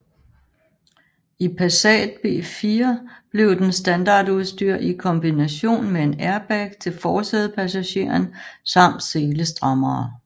I Passat B4 blev den standardudstyr i kombination med en airbag til forsædepassageren samt selestrammere